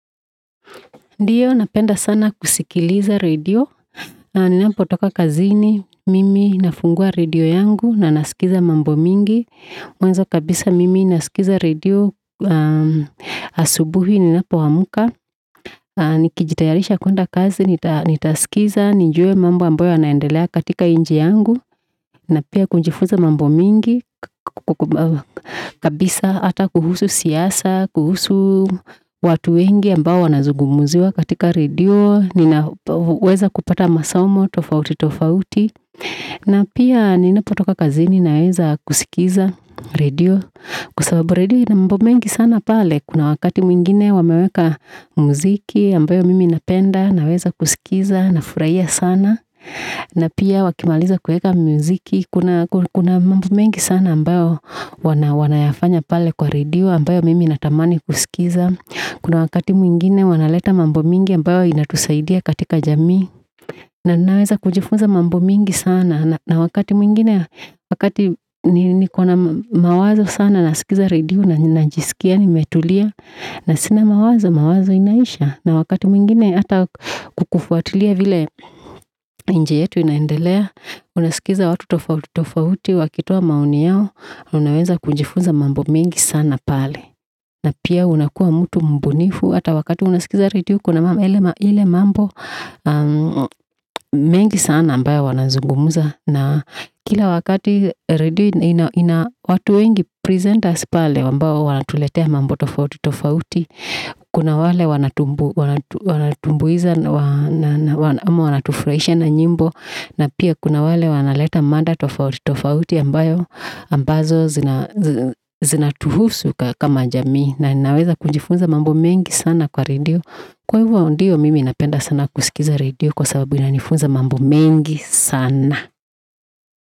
Ndiyo, napenda sana kusikiliza radio. Ninapo toka kazini, mimi nafungwa radio yangu, na naskiza mambo mingi. Mwanzo kabisa mimi naskiza radio, asubuhi ninapo wamuka. Nikijitayarisha kuenda kazi, nitaskiza, nijue mambo amboyo yanaendelea katika inchi yangu. Na pia kunjifuza mambo mingi, kabisa, ata kuhusu siasa, watu wengi ambao wanazugumuziwa katika radio, ninaweza kupata masomo tofauti tofauti, na pia ninapo toka kazini naweza kusikiliza radio. Kwa sababu radio inambo mengi sana pale, kuna wakati mwingine wameweka muziki, ambayo mimi napenda, naweza kusikiliza, nafuraia sana, na pia wakimaliza kuweka muziki, kuna mambo mengi sana ambayo wanayafanya pale kwa radio, ambayo mimi natamani kusikiza, kuna wakati mwingine wanaleta mambo mingi, ambayo inatusaidia katika jami, na ninaweza kujifuza mambo mingi sana, na wakati mwingine wakati niko na mawazo sana, naskiza radio na nijiskia, nimetulia, na sina mawazo, mawazo inaisha, na wakati mwingine ata kukufuatulia vile inchi yetu inaendelea, una sikiza watu tofauti tofauti wakitoa maoni yao, na wakati mwingine kujifuza mambo mingi sana pale, na pia unakuwa mutu mbunifu, ata wakati unaskiza radio, kuna ile mambo mengi sana ambayo wana zungumuza, na kila wakati radio, ina watu wengi presenters pale, wana tuletea mambo tofauti tofauti, kuna wale wana tumbuiza, wana tufuraisha na nyimbo, na pia kuna wale wana leta mada tofauti tofauti, ambayo ambazo zina tuhusu ka kama jamii, na ninaweza kujifuza mambo mengi sana kwa radio, kwa ivo ndio mimi napenda sana kusikiza radio, kwa sababu inanifunza mambo mengi sana.